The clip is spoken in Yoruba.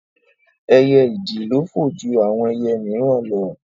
Ẹyẹ ìdì le fò ju àwọn ẹyẹ míìràn lọ